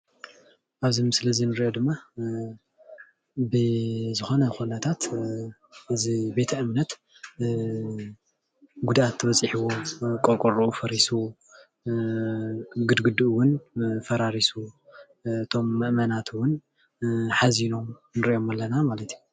ኣብዚ ምስሊ እዚ እንሪኦ ድማ ብዝኮነ ኩነታት እዚ ቤተ እምነት ጉድኣት በፂሕዎም ቆርቆርኡ ፈሪሱ ግድግድኡ እውን ፈራረሱ እቶም ምእመናት እውን ሓዚኖም ንሪኦም ኣለና ማለት እዩ፡፡